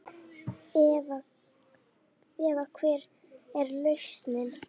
Eva: Hver er lausnin?